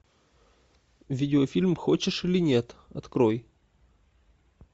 видеофильм хочешь или нет открой